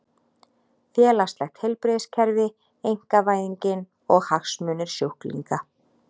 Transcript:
Félagslegt heilbrigðiskerfi, einkavæðingin og hagsmunir sjúklinga.